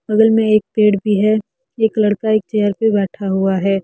बगल में एक पेड़ भी है एक लड़का एक चेयर पे बैठा हुआ है।